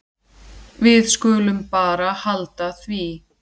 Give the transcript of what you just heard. Við skulum bara halda því.